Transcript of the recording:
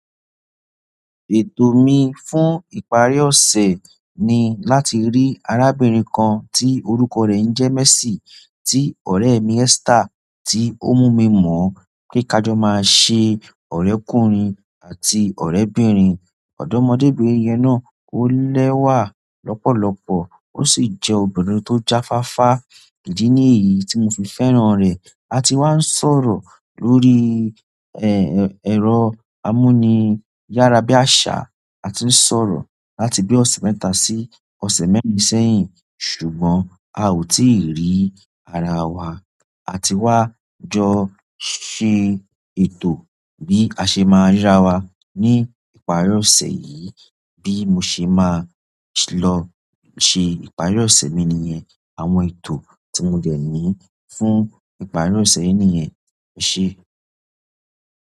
Ètò mi fún ìparí ọ̀sẹ̀ ni láti rí arábìnrin kan tí orúkọ rẹ̀ ń jẹ́ Mercy tí ọ̀rẹ́ mi Esther tí ó mú mi mọ̀ pé ká jọ máa ṣe ọ̀rẹ́kùnrin àti ọ̀rẹ́bìnrin. Ọ̀dọ́mọbìnrin yẹn náà ó lẹ́wà lọ́pọ̀lọ́pọ̀ ó sì jẹ́ obìnrin tó jáfáfá, ìdí nìyí tí mo fi fẹ́ràn rẹ̀. A ti wá ń sọ̀rọ̀ lórí, ẹ́, ẹ̀, ẹ̀rọ amúniyára bí àṣá, a ti ń sọ̀rọ̀ láti bí ọ̀sẹ̀ mẹ́ta sí ọ̀sẹ̀ mẹ́rin sẹ́yìn ṣùgbọ́n a ò tíì rí ara wa. A ti wá jọ ṣe ètò bí a ṣe máa rí ara wa ní ìparí ọ̀sẹ̀ yìí bí mo ṣe máa lọ ṣe ìparí ọ̀sẹ̀ mi nìyẹn àwọn ètò tí mo dẹ̀ ní fún ìparí ọ̀sẹ̀ yìí nìyẹn, ese.